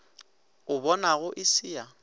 o bonago e se ya